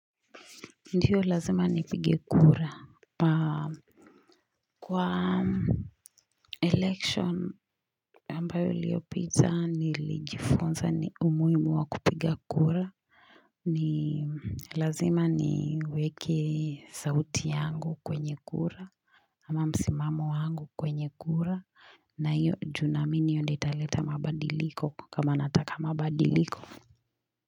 Ndiyo lazima nipige kura kwa election ambayo iliopita nilijifunza ni umuhimu wa kupiga kura ni lazima niweke sauti yangu kwenye kura ama msimamo wangu kwenye kura na hiyo juu naamini hiyo ndio italeta mabadiliko kama nataka mabadiliko.